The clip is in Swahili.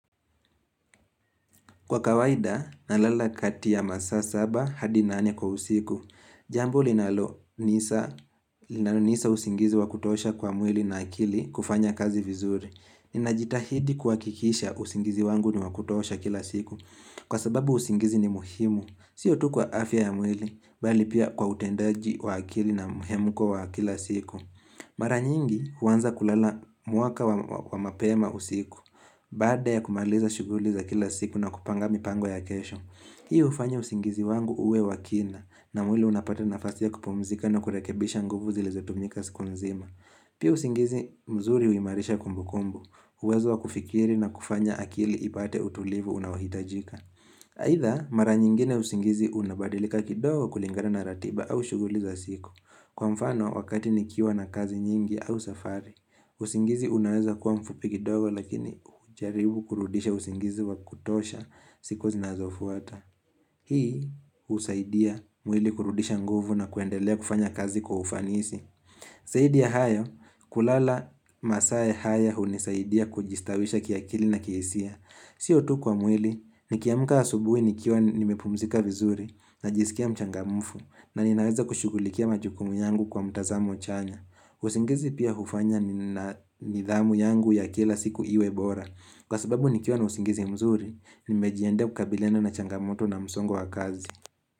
Kwa kawaida, nalala kati ya masaa saba hadi nane kwa usiku. Jambo linalo nisa usingizi wakutosha kwa mwili na akili kufanya kazi vizuri. Ninajitahidi kua kikisha usingizi wangu ni wakutosha kila siku. Kwa sababu usingizi ni muhimu. Sio tukwa afya ya mwili, bali pia kwa utendaji wa akili na muhemuko wa kila siku. Maranyingi huanza kulala mwaka wa mapema usiku. Baada ya kumaliza shuguli za kila siku na kupanga mi pango ya kesho, hii u ufanya usingizi wangu uwe wakina na mwili unapata nafasi ya kupumzika na kurekebisha nguvu zilizo tumika siku nzima. Pia usingizi mzuri uimarisha kumbu kumbu, uwezo wa kufikiri na kufanya akili ipate utulivu unaohitajika. Haidha mara nyingine usingizi unabadilika kidogo kulingana na ratiba au shuguli za siku. Kwa mfano wakati nikiwa na kazi nyingi au safari, usingizi unaweza kuwa mfupikidogo lakini ujaribu kurudisha usingizi wa kutosha siku zinazofuata. Hii usaidia mwili kurudisha nguvu na kuendelea kufanya kazi kwa ufanisi. Zaidi ya hayo, kulala masaa ya haya unisaidia kujistawisha kia kili na kiisia. Sio tu kwa mwili, nikiamka asubuhi nikiwa nimepumzika vizuri na jisikia mchangamfu na ninaweza kushugulikia majukumu yangu kwa mtazamo chanya. Usingizi pia hufanya ni nidhamu yangu ya kila siku iwebora. Kwa sababu nikiwa na usingizi mzuri, nimejiandaa kukabiliana na changamoto na msongo wa kazi.